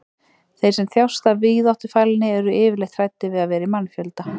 þeir sem þjást af víðáttufælni eru yfirleitt hræddir við að vera í mannfjölda